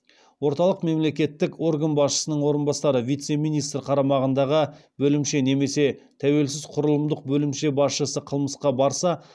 орталық мемлекеттік орган басшысының орынбасары қарамағындағы бөлімше немесе тәуелсіз құрылымдық бөлімше басшысы қылмысқа барса